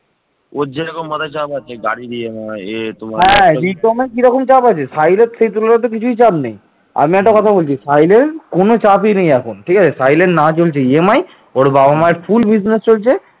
পাল সাম্রাজ্যের যুগ ছিল বাংলার ইতিহাসে এক গৌরবোজ্জ্বল যুগ